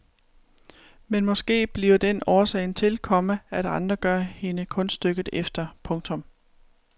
Men måske bliver den årsagen til, komma at andre gør hende kunststykket efter. punktum